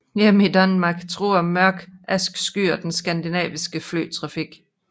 Hjemme i Danmark truer mørke askeskyer den skandinaviske flytrafik